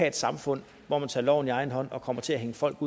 et samfund hvor man tager loven i egen hånd og kommer til at hænge folk